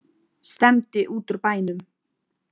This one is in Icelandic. Stefndi út úr bænum.